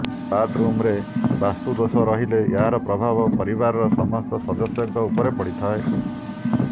କାରଣ ବାଥ୍ ରୁମ୍ରେ ବାସ୍ତୁ ଦୋଷ ରହିଲେ ଏହାର ପ୍ରଭାବ ପରିବାରର ସମସ୍ତ ସଦସ୍ୟଙ୍କ ଉପରେ ପଡ଼ିଥାଏ